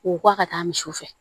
K'u bɔ a ka taa misiw fɛ